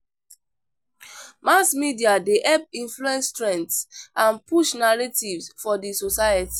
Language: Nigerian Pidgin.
Mass media dey help influence trends and push narratives for the society.